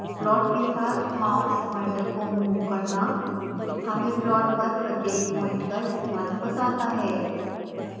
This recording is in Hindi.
प्लॉट के साथ माउस प्वाइंटर को मूव करना हमें प्लॉट पर प्रत्येक प्वाइंट का स्थान बताता है